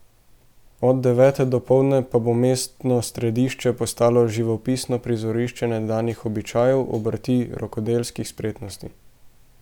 Od devete dopoldne pa bo mestno središče postalo živopisno prizorišče nekdanjih običajev, obrti, rokodelskih spretnosti.